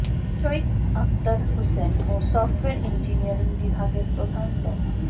সৈয়দ আকতার হোসেন ও software engineering বিভাগের প্রধান ড